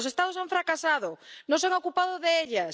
Los Estados han fracasado, no se han ocupado de ellas